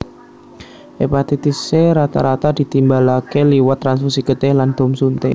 Hepatitis C rata rata ditimbalaké liwat transfusi getih lan dom suntik